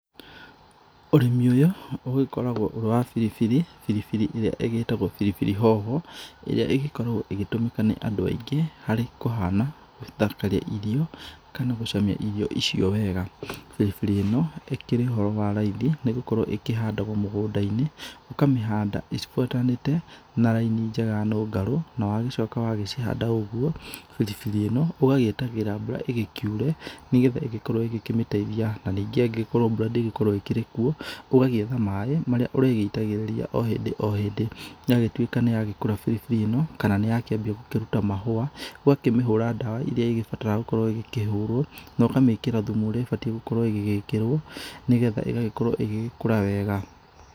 Ũrĩmi ũyũ ũgĩkoragwo ũrĩ wa biribiri. Biribiri ĩrĩa ĩgĩtagwo biribiri hoho, ĩrĩa ĩgĩkoragwo ĩgĩtumĩka nĩ andũ aingĩ harĩ kũhana, gũthakarĩa irio, kana gũcamia irio icio wega. Biribiri ĩno ĩkĩrĩ ũhoro wa raithi nĩ gũkorwo ĩĩhandagwo mũgũnda-inĩ, ũkamĩhanda cibuatanĩte na rainĩ njega nũngarũ. Na wagĩcoka wa gĩcihanda ũgũo, biribiri ĩno ũgagĩetagĩrĩra mbura ĩgĩkĩure, nĩgetha ĩgĩkorwo ĩgĩkĩmĩteithia. Na ningĩ angĩgĩkorwo mbura ndĩgũkorwo ĩkĩrĩ kuo, ũgagĩetha maaĩ marĩa ũrĩgĩitagĩrĩria o hindi o hindi. Yagĩtũĩka nĩ yakũra biribiri ĩno, kana nĩ yakĩambia gũkĩrũta mahũa, ũgakĩmĩhũra ndawa irĩa ĩgĩbataraga gũkorwo ĩgĩkĩhũrwo, no kamĩkĩra thumu ũrĩa ĩbataĩre gũkorwo ĩgĩgĩkĩrwo, nĩgetha ĩgagĩkorwo ĩgĩgĩkũra wega.